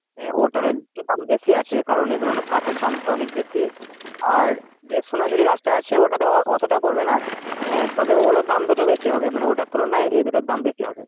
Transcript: ওটার দাম বেশি আছে, কারণ এগুলোর কাঠের দাম তো বেশি। আর যে সোনাঝুরি গাছটা আছে, ওটাতে অতটা পরবে না আহ তবে ওগুলোর দাম দুটো বেশি হবে। মানে ওটার তুলনায় এই দুটোর দাম বেশি হবে।